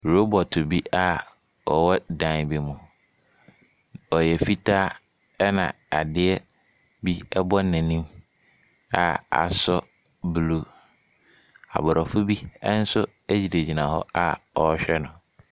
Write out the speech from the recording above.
Robɔto bi a ɔwɔ dan bi mu. Ɔyɛ fitaa ɛnna adeɛ bi bɔ n'anim a asɔ blue. Aborɔfo bi nso gyinagyina hɔ a wɔrehwɛ no.